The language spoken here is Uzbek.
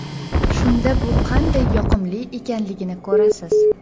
Shunda bu qanday yoqimli ekanligini ko‘rasiz!